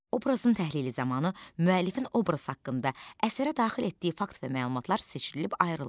Obrazın təhlili zamanı müəllifin obraz haqqında əsərə daxil etdiyi fakt və məlumatlar seçilib ayrılır.